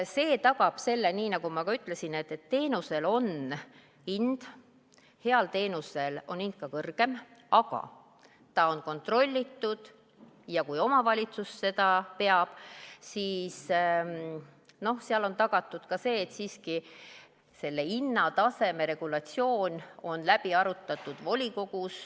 See tagab selle, nii nagu ma ütlesin, et teenusel on hind, heal teenusel on hind ka kõrgem, aga ta on kontrollitud ja kui omavalitsus seda hooldekodu peab, siis seal on tagatud ka see, et hinnataseme regulatsioon on volikogus läbi arutatud.